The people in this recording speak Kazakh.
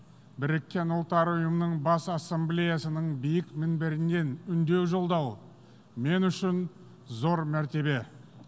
біріккен ұлттар ұйымының бас ассамблеясының биік мінберінен үндеу жолдау мен үшін зор мәртебе